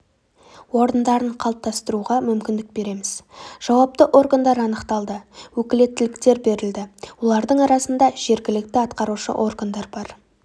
орындарын қалыптастыруға мүмкіндік береміз жауапты органдар анықталды өкілеттіліктер берілді олардың арасында жергілікті атқарушы органдар бар